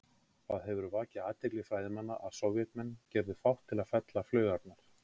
Það hefur vakið athygli fræðimanna að Sovétmenn gerðu fátt til að fela flaugarnar.